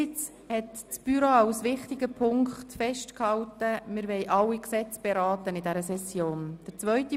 Erstens hat das Büro als wichtigen Punkt festgehalten, dass wir alle Gesetze während dieser Session beraten wollen.